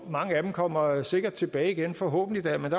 mange af dem kommer sikkert tilbage igen forhåbentlig da men